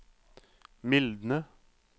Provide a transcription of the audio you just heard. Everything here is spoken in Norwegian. mildne